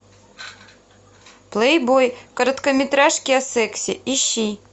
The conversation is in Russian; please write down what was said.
плейбой короткометражки о сексе ищи